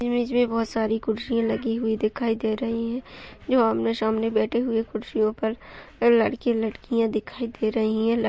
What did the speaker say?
Image में बहुत सारी कुर्सियां लगी हुई दिखाई दे रही हैं जो आमने-सामने बैठे हुए कुर्सियों पर लड़के-लड़कियां दिखाई दे रही हैं। ल --